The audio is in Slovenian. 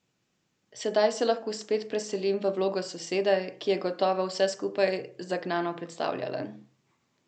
Sedaj se lahko spet preselim v vlogo sosede, ki je gotovo vse skupaj zagnano predstavljala.